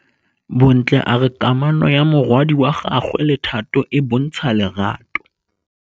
Bontle a re kamanô ya morwadi wa gagwe le Thato e bontsha lerato.